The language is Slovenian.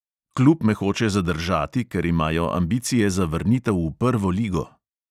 Klub me hoče zadržati, ker imajo ambicije za vrnitev v prvo ligo.